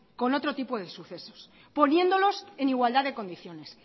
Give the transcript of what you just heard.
con otro tipo de sucesos poniéndolos en igualdad de condiciones